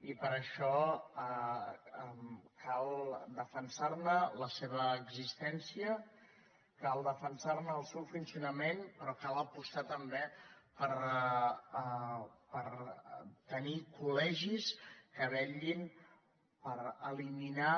i per això cal defensar ne la seva existència cal defensar ne el seu funcionament però cal apostar també per tenir col·legis que vetllin per eliminar